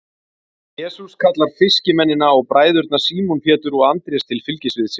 jesús kallar fiskimennina og bræðurna símon pétur og andrés til fylgis við sig